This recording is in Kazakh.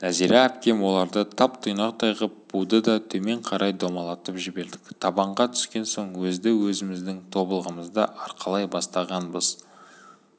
нәзира әпкем оларды тап-тұйнақтай ғып буды да төмен қарай домалатып жібердік табанға түскен соң өзді-өзіміздің тобылғымызды арқалай бастағанбыз